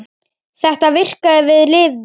Þetta virkaði og við lifðum.